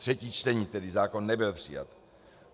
Třetí čtení, tedy zákon nebyl přijat.